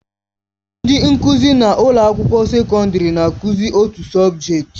Ndị nkụzi na ụlọ akwụkwọ sekọndrị na-akụzi otu sọbjeti.